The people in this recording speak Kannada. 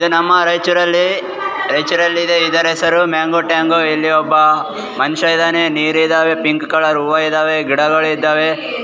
ಇದು ನಮ್ಮ ರೈಚೂರಲ್ಲಿ ರೈಚೂರಲ್ಲಿ ಇದೆ ಇದರ ಹೆಸರು ಮ್ಯಾಂಗೋ ಟ್ಯಾಂಗೋ ಇಲ್ಲಿ ಒಬ್ಬ ಮನುಷ್ಯ ಇದಾನೆ ನೀರ್ ಇದಾವೆ ಪಿಂಕ್ ಕಲರ್ ಹೂವ ಇದಾವೆ ಗಿಡಗಳಿದಾವೆ.